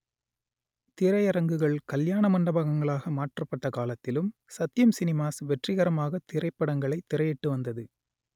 திரையரங்குகள் கல்யாண மண்டபங்களாக மாற்றப்பட்ட காலத்திலும் சத்யம் சினிமாஸ் வெற்றிகரமாக திரைப்படங்களை திரையிட்டு வந்தது